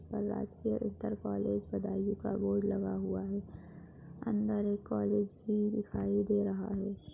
राजकीय inter college Budaun का board लगा हुआ है। अंदर एक कॉलेज भी दिखाई दे रहा है।